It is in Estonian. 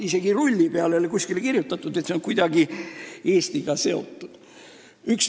Isegi rulli peale ei ole kuskile kirjutatud, et see on kuidagi Eestiga seotud.